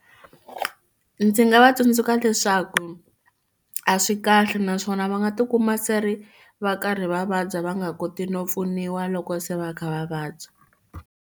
Ndzi nga va tsundzuxa leswaku a swi kahle naswona va nga tikuma se ri va karhi va vabya va nga koti no pfuniwa loko se va kha va vabya.